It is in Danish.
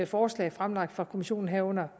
forslag fremlagt af kommissionen herunder